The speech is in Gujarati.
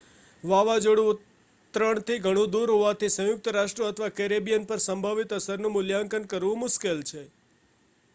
વાવાઝોડું ઉતરણથી ઘણું દૂર હોવાથી સંયુક્ત રાષ્ટ્રો અથવા કેરેબિયન પર સંભવિત અસરનું મૂલ્યાંકન કરવું મુશ્કેલ છે